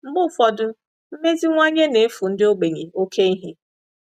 Mgbe ụfọdụ, mmeziwanye na-efu ndị ogbenye oké ihe.